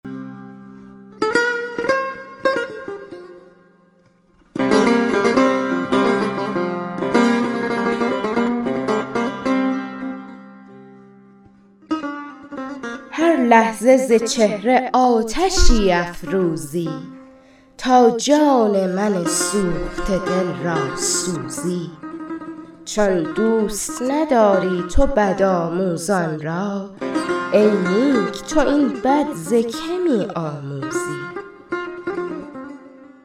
هر لحظه ز چهره آتشی افروزی تا جان من سوخته دل را سوزی چون دوست نداری تو بدآموزان را ای نیک تو این بد ز که می آموزی